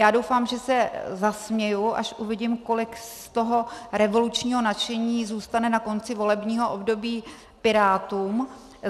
Já doufám, že se zasměju, až uvidím, kolik z toho revolučního nadšení zůstane na konci volebního období Pirátům.